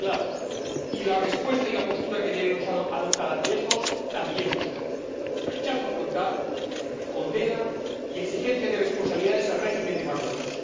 Son muy claros, y la respuesta y la postura que debemos adoptar ante estos también lo son rechazo frontal, condena y exigencia de responsabilidades al régimen de Marruecos.